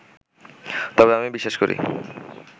তবে আমি বিশ্বাস করি